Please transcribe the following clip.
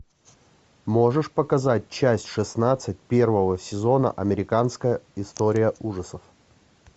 можешь показать часть шестнадцать первого сезона американская история ужасов